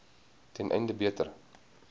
ten einde beter